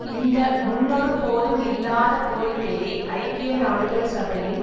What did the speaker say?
இந்த முன்னொருபோதும் இல்லாத கோரிக்கையை ஐக்கிய நாடுகள் சபையின்